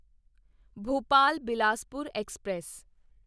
Bhopal Bilaspur express